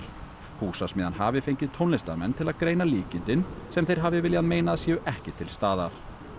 Húsasmiðjan hafi fengið tónlistarmenn til að greina líkindin sem þeir hafi viljað meina að séu ekki til staðar